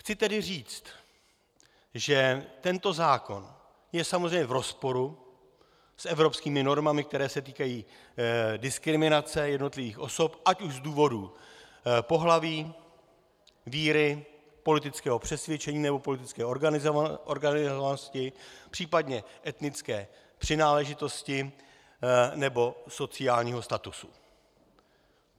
Chci tedy říct, že tento zákon je samozřejmě v rozporu s evropskými normami, které se týkají diskriminace jednotlivých osob ať už z důvodu pohlaví, víry, politického přesvědčení nebo politické organizovanosti, případně etnické přináležitosti nebo sociálního statusu.